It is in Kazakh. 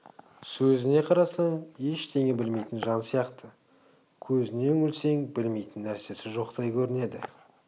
сөзіне қарасаң ештеңе білмейтін жан сияқты көзіне үңілсең білмейтін нәрсесі жоқтай көрінеді